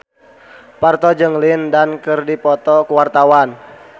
Parto jeung Lin Dan keur dipoto ku wartawan